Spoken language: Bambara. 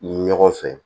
Ni ɲɔgɔn fɛ